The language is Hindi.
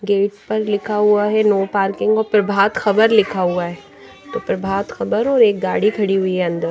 गेट पर लिखा हुआ हैं नो पार्किंग और प्रभात खबर लिखा हुआ है तो प्रभात खबर और एक गाड़ी खड़ी हुई हैं अंदर --